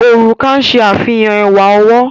Òrùka ń ṣe àfihàn ẹwà ọwọ́.